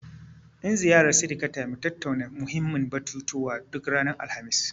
In ziyarar sirikata, mu tattauna muhimmin batutuwa, duk ranar Alhamis.